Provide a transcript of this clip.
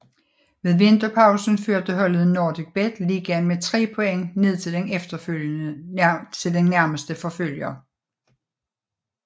Ved vinterpausen førte holdet NordicBet Ligaen med tre point ned til den nærmeste forfølger